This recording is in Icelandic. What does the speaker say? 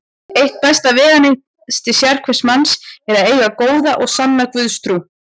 Eitt besta veganesti sérhvers manns er að eiga góða og sanna Guðstrú.